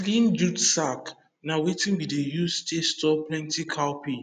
clean jute sack na wetin we dey use to store plenty cowpea